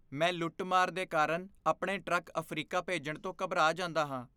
ਮੈਂ ਲੁੱਟ ਮਾਰ ਦੇ ਕਾਰਨ ਆਪਣੇ ਟਰੱਕ ਅਫ਼ਰੀਕਾ ਭੇਜਣ ਤੋਂ ਘਬਰਾ ਜਾਂਦਾ ਹਾਂ